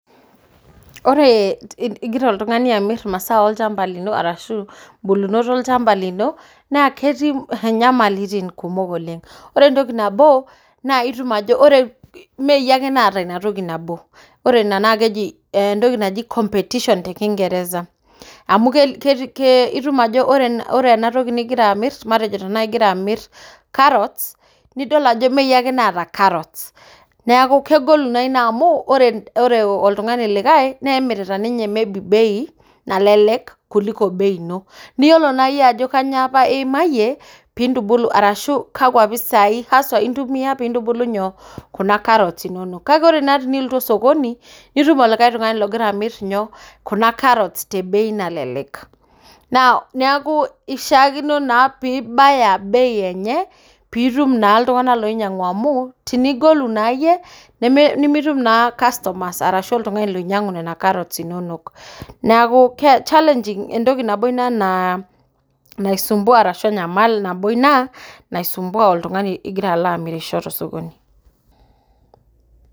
Ore igira oltung'ani amirr imasaa ilchamba lino ashuu bulunot ilchamba lino naa ketii nyamalitin kumok oleng. Ore entoki nabo naa meyie ake naata inatoki nabo. Ore ina naa keji competition te kingeresa amuu itum ajo ore ena toki nigira amirr anaa matejo karat nitum ajo ime iyie ake naata karot, neeku kegolu naa ina amuu ore oltung'ani like nemirita ninye bei nalelek kuliko bei ino, niyiolo naa iyie ajo kainyio iimayie piintubulu ashuu kakua pisai ntumia piintubulu kuna karot inono kake ore naa piilotu sokoni, nitum olikae tung'ani ogira amirr kuna karot te bei nalelek. Neeku ishaakino naa pibaya bei enye piitum naa iltung'ana ooinyang'u amu tenigolu naa iyie nimitum naa customer oinyang'u nena karot inono neeku enyamali ina nabo naitanyamal oltung'ani ogira alo amirisho to sokoni.